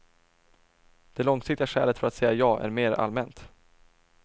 Det långsiktiga skälet för att säga ja är mer allmänt.